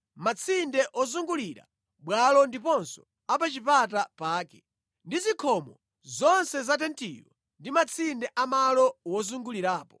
matsinde ozungulira bwalo ndiponso a pa chipata pake, ndi zikhomo zonse za tentiyo ndi matsinde a malo wozungulirapo.